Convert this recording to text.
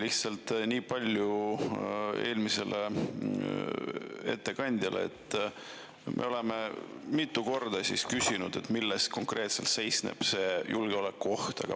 Lihtsalt ütlen niipalju eelmisele ettekandjale, et me oleme mitu korda küsinud, milles konkreetselt seisneb see julgeolekuoht.